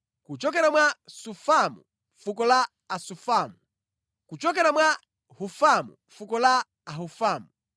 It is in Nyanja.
kuchokera mwa Sufamu, fuko la Asufamu; kuchokera mwa Hufamu, fuko la Ahufamu;